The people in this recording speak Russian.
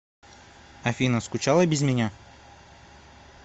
афина скучала без меня